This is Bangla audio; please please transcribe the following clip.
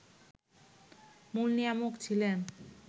মূল নিয়ামক ছিলেন